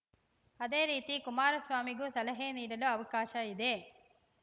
ಅದೇ ರೀತಿ ಕುಮಾರಸ್ವಾಮಿಗೂ ಸಲಹೆ ನೀಡಲು ಅವಕಾಶ ಇದೆ